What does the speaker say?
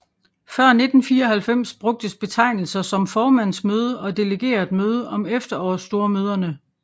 Før 1994 brugtes betegnelser som formandsmøde og delegeretmøde om efterårsstormøderne